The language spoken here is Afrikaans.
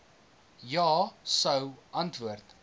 ja sou antwoord